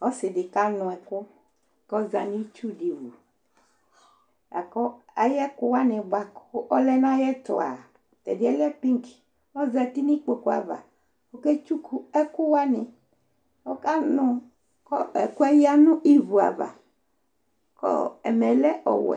Ɔsɩ ɖɩ ƙa nʋ ɛƙʋ ƙʋ ɔza nʋ itsu ɖɩ wuAƴʋ ɛƙʋ wanɩ bʋa ƙʋ ɔlɛ nʋ aƴʋɛtʋa, tɛɖɩɛ lɛ bigƆzati nʋ iƙpoƙu ava ƙʋ ɔƙe tsuƙu ɛƙʋ wanɩƆƙa nʋ ɛƙʋɛ ƴǝ nʋ ivu ava; ƙʋ ɛmɛ lɛ ɔwɛ